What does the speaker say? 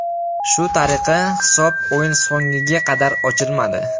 Shu tariqa hisob o‘yin so‘ngiga qadar ochilmadi.